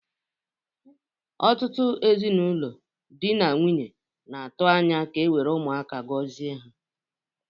Ọtụtụ ezinaụlọ na dị na nwunye na-atu anya ka ewere Ụmụaka gozie ha.